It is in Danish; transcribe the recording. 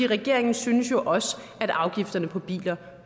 regeringen synes jo også at afgifterne på biler